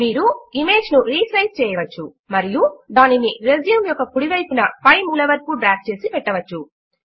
మీరు ఇమేజ్ ను రీసైజ్ చేయవచ్చు మరియు దానిని రెజ్యూమ్ యొక్క కుడి వైపున పై మూల వరకు డ్రాగ్ చేసి పెట్టవచ్చు